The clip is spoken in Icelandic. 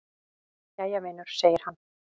"""Jæja, vinur segir hann."""